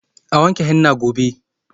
A wanke henna gobe.